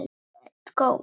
Þú ert góður!